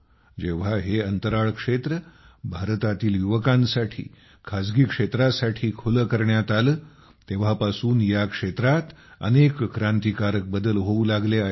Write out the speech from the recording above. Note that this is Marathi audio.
जेव्हा हे अंतराळ क्षेत्र भारतातील युवकांसाठी खासगी क्षेत्रासाठी खुले करण्यात आले तेव्हापासून या क्षेत्रात अनेक क्रांतिकारक बदल होऊ लागले आहेत